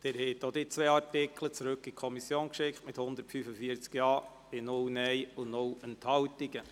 Sie haben auch diese zwei Artikel zurück an die Kommission geschickt mit 145 Ja- bei 0 Nein-Stimmen und 0 Enthaltungen.